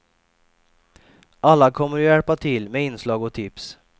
Alla kommer att hjälpa till med inslag och tips.